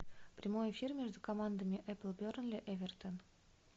прямой эфир между командами апл бернли эвертон